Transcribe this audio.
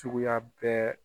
Cogoya bɛɛ.